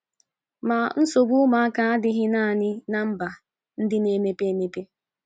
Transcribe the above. Ma, nsogbu ụmụaka adịghị nanị ná mba ndị na - emepe emepe.